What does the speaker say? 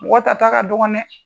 Mɔgɔ tata ka dɔgɔ dɛ!